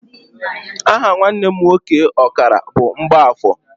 Aha nwanne m nwoke ọkara bụ Mgbafọ.